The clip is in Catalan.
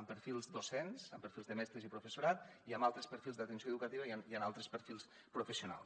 amb perfils docents amb perfils de mestres i professorat i amb altres perfils d’atenció educativa i amb altres perfils professionals